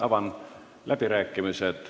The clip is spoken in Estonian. Avan läbirääkimised.